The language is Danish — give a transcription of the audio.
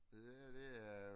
Og det her det er